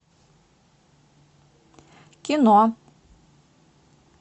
кино